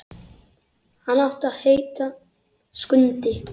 Hann átti að heita Skundi.